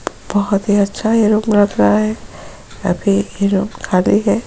बहोत ही अच्छा ये रूम लग रहा है अभी ये रूम खाली है ।